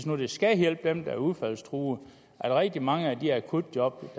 nu skal hjælpe dem der er udfaldstruede at rigtig mange af de akutjob